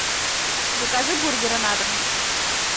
закажи бургеры на дом